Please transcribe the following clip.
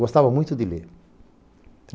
Gostava muito de ler.